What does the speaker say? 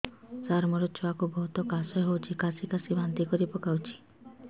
ସାର ମୋ ଛୁଆ କୁ ବହୁତ କାଶ ହଉଛି କାସି କାସି ବାନ୍ତି କରି ପକାଉଛି